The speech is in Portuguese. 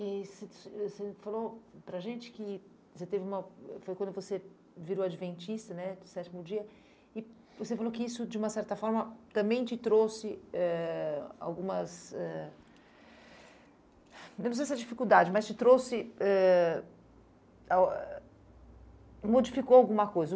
E você e você falou para a gente que você teve uma... foi quando você virou adventista, né, do sétimo dia, e você falou que isso, de uma certa forma, também te trouxe eh algumas eh... eu não sei se é dificuldade, mas te trouxe ãh... modificou alguma coisa.